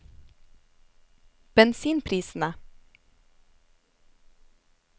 bensinprisene